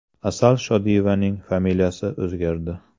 Asal Shodiyevaning familiyasi o‘zgardi.